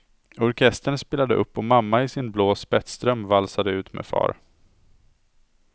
Orkestern spelade upp och mamma i sin blå spetsdröm valsade ut med far.